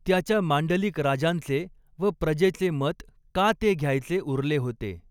त्याच्या मांडलिक राजांचे व प्रजेचे मत का ते घ्यायचे उरले होते.